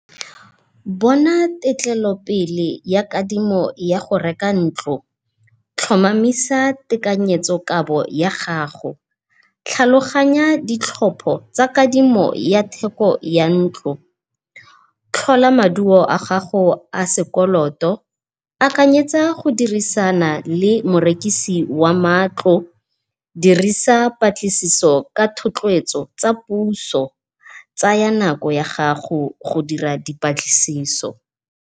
Bona tetlelopele ya kadimo ya go reka ntlo, tlhomamisa tekanyetsokabo ya gago. Tlhaloganya di tlhopo tsa kadimo ya theko ya ntlo, tlhola maduo a gago a sekoloto, akanyetsa go dirisana le morekisi wa matlo, dirisa patlisiso ka thotloetso tsa puso, tsaya nako ya gago go dira dipatlisiso.